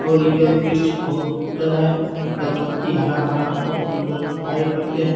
और यह वृक्ष बहुत सुंदर है इनका पत्ती हरा-भरा बहुत सुंदर दिखाई पड़ते हैं।